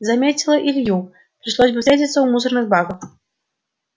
заметила илью пришлось бы встретиться у мусорных баков